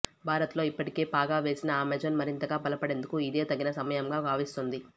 భారత్ లో ఇప్పటికే పాగా వేసిన అమెజాన్ మరింతగా బలపడేందుకు ఇదే తగిన సమయంగా భావిస్తోంది